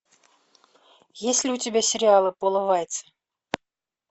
есть ли у тебя сериалы пола вайца